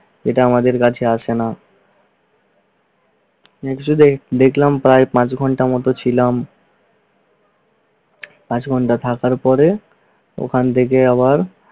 এটা আমাদের কাছে আসে না দেখলাম প্রায় পাঁচ ঘন্টার মতো ছিলাম। পাঁচ ঘন্টা থাকার পরে ওখান থেকে আবার